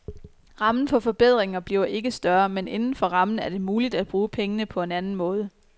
Rammen for forbedringer bliver ikke større, men inden for rammen er det muligt at bruge pengene på en anden måde.